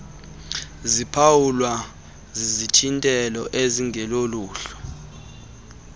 ziphawulwa zizithintelo ezingeloluhlu